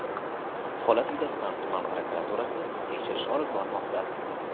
Holat yuzasidan tuman prokuraturasi tekshirish olib bormoqda.